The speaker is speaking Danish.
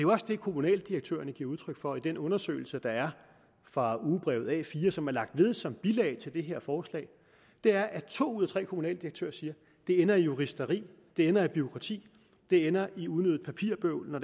også det kommunaldirektørerne giver udtryk for i den undersøgelse fra ugebrevet a4 som er lagt ved som bilag til det her forslag to ud af tre kommunaldirektører siger det ender i juristeri det ender i bureaukrati det ender i unødigt papirbøvl når